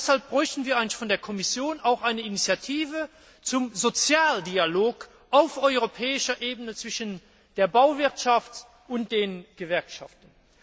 Deshalb bräuchten wir von der Kommission auch eine Initiative zum Sozialdialog auf europäischer Ebene zwischen der Bauwirtschaft und den Gewerkschaften.